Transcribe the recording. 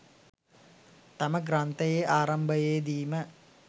තම ග්‍රන්ථයේ ආරම්භයේ දීම